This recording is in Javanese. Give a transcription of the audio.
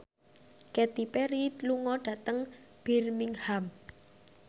Katy Perry lunga dhateng Birmingham